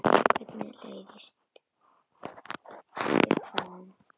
Hvernig leist þér á hann?